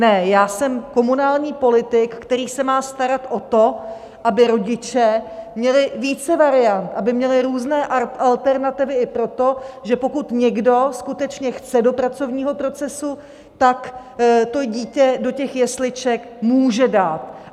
Ne, já jsem komunální politik, který se má starat o to, aby rodiče měli více variant, aby měli různé alternativy i proto, že pokud někdo skutečně chce do pracovního procesu, tak to dítě do těch jesliček může dát.